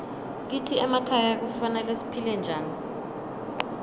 kitsi emakhaya kufanele siphile njani